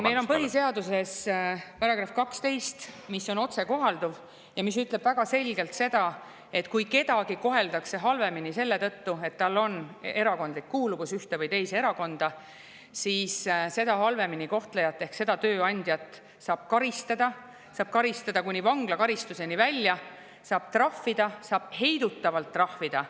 Meil on põhiseaduses § 12, mis on otsekohalduv ja mis ütleb väga selgelt seda, et kui kedagi koheldakse halvemini selle tõttu, et tal on erakondlik kuuluvus ehk ta kuulub ühte või teise erakonda, siis seda halvemini kohtlejat ehk seda tööandjat saab karistada, teda saab karistada kuni vanglakaristuseni välja, saab trahvida, saab heidutavalt trahvida.